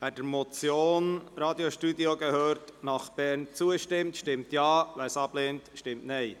Wer der Motion «Radiostudio gehört nach Bern» zustimmt, stimmt Ja, wer dies ablehnt, stimmt Nein.